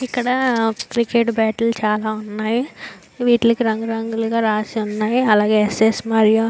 ఇక్కడ cricket bat చాల ఉన్నాయ్. వీటికి రంగులు రంగులుగా రాసి ఉన్నాయ్. అలాగే ఎస్ ఎస్ మరియా --